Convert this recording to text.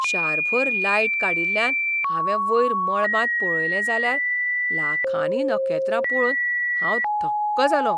शारभर light काडिल्ल्यान हांवें वयर मळबांत पळयलें जाल्यार लाखांनी नखेत्रां पळोवन हांव थक्क जालों.